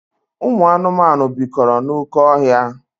Ụmụ anụmanụ bikọrọ n'oké ọhịa.